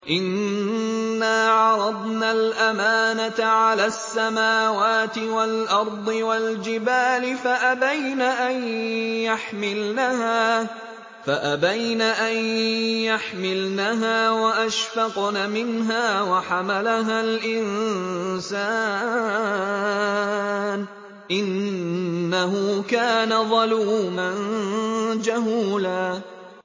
إِنَّا عَرَضْنَا الْأَمَانَةَ عَلَى السَّمَاوَاتِ وَالْأَرْضِ وَالْجِبَالِ فَأَبَيْنَ أَن يَحْمِلْنَهَا وَأَشْفَقْنَ مِنْهَا وَحَمَلَهَا الْإِنسَانُ ۖ إِنَّهُ كَانَ ظَلُومًا جَهُولًا